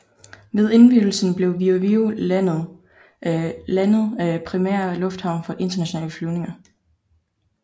Ved indvielsen blev Viru Viru landet primære lufthavn for internationale flyvninger